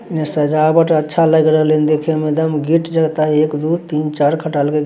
इन्ने सजावट अच्छा लेग रहले हेन देखे मे एकदम गेट एक दो तीन खटाल के --